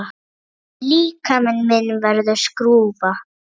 Líkami minn verður skrúfa.